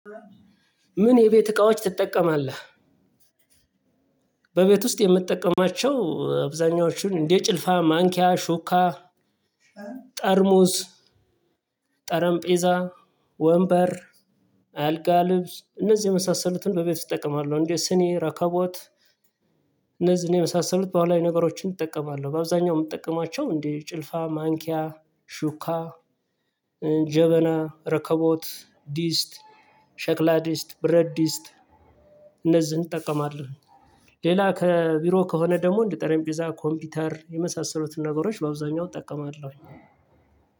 ምን የቤት እቃዎች ትጠቀማለህ? በቤት ውስጥ የምጠቀማቸው አብዛኞቹን እንደ ጭልፋ ማንኪያ ሹካ ጠርሙስ ጠረምጴዛ ወንበር አልጋ ልብስ እነዚህ የመሳሰሉትን በቤት እጠቀማለሁ እንዴ ስኒ ረከቦት እነዚህን የመሳሰሉት ባህላዊ ነገሮችን እጠቀማለሁ በአብዛኛው የምጠቀማቸው እንደ ጭልፋ ማንኪያ ሹካ ጀበና ረከቦት ዲስት ሸክላ ዲስት ብረትዲስት እነዚህን እጠቀማለሁ። ሌላ ከቢሮ ከሆነ ደግሞ እንደ ጠረምጴዛ ኮምፒውተር የመሳሰሉትን ነገሮች በአብዛኛው እጠቀማለሁ።